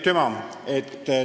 Aitüma!